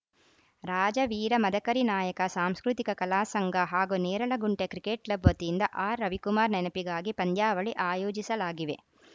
ರಾಜ ವೀರ ಮದಕರಿ ನಾಯಕ ಸಾಂಸ್ಕೃತಿಕ ಕಲಾಸಂಘ ಹಾಗೂ ನೇರಲಗುಂಟೆ ಕ್ರಿಕೆಟ್‌ ಕ್ಲಬ್‌ ವತಿಯಿಂದ ಆರ್‌ರವಿಕುಮಾರ್‌ ನೆನಪಿಗಾಗಿ ಪಂದ್ಯಾವಳಿ ಆಯೋಜಿಸಲಾಗಿವೆ